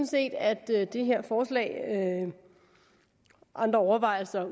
set at det her forslag andre overvejelser